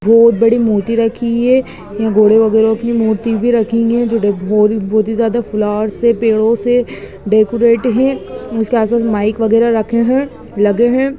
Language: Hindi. बहुत बड़ी मूर्ति रखी है घोड़ों वगहरा की मूर्ति रखी हुई है जो बहुत ही ज्यादा फ्लावर्स से पेदो से डेकोरेट है इसके आगे माइक वगहरा रखे है लगे है।